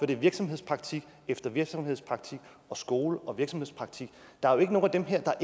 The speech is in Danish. det er virksomhedspraktik efter virksomhedspraktik og skole og virksomhedspraktik der er jo ikke nogen af dem her der